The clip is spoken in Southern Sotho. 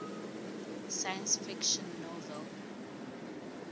science fiction novel